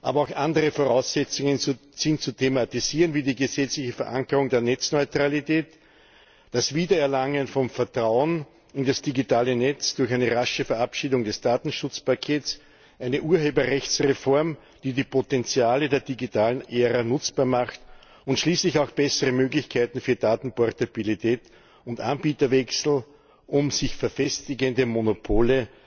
Aber auch andere Voraussetzungen sind zu thematisieren wie die gesetzliche Verankerung der Netzneutralität, das Wiedererlangen von Vertrauen in das digitale Netz durch eine rasche Verabschiedung des Datenschutzpakets, eine Urheberrechtsreform, die die Potenziale der digitalen Ära nutzbar macht, und schließlich auch bessere Möglichkeiten für Datenportabilität und Anbieterwechsel, um sich verfestigende Monopole